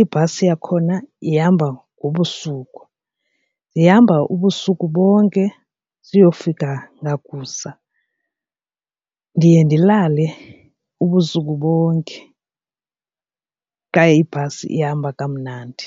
ibhasi yakhona ihamba ngobusuku. Zihamba ubusuku bonke siyofika ngakusa, ndiye ndilale ubusuku bonke xa ibhasi ihamba kamnandi.